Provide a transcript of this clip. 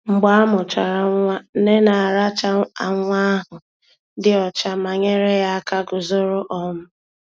Mgbe amuchara nwa, nne na-aracha nwa ahụ dị ọcha ma nyere ya aka guzoro. um